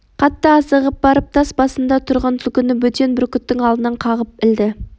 қатты асығып ағып барып тас басында тұрған түлкіні бөтен бүркіттің алдынан қағып ілді